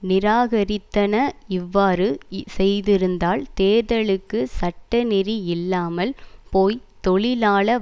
நிராகரித்தன இவ்வாறு செய்திருந்தால் தேர்தலுக்கு சட்டநெறி இல்லாமல் போய் தொழிலாள